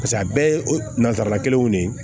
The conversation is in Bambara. Paseke a bɛɛ ye nazara kelenw de ye